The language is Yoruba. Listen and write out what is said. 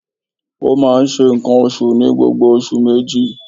Ó máa n se ǹkan osù ní gbogbo oṣù méjì